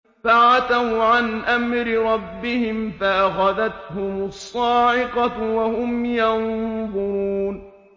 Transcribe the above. فَعَتَوْا عَنْ أَمْرِ رَبِّهِمْ فَأَخَذَتْهُمُ الصَّاعِقَةُ وَهُمْ يَنظُرُونَ